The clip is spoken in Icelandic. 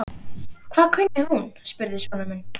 Hvað kunni hún? spurði sonur minn.